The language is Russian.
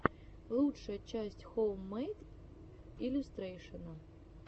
лучшая часть хоуммэйд иллюстрэйшэна